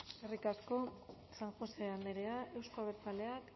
eskerrik asko san josé andrea euzko abertzaleak